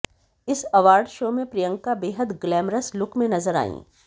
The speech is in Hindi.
इस अवार्ड शो में प्रियंका बेहद ग्लैमरस लुक में नजर आईं